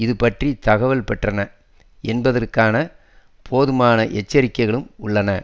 அதுபற்றித் தகவல் பெற்றன என்பதற்கான போதுமான எச்சரிக்கைகளும் உள்ளன